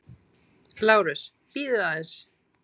LÁRUS: Bíðið aðeins.